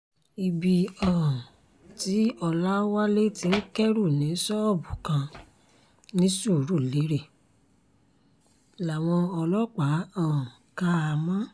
ibi um tí ọlọ́wálé ti ń kẹ́rù ní ṣọ́ọ̀bù kan ní surulere làwọn ọlọ́pàá um kà á mọ́